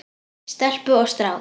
Stelpu og strák.